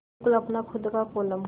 बिल्कुल अपना खु़द का कोलम